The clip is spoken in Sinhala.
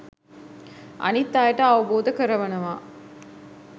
අනිත් අයට අවබෝධ කරවනවා.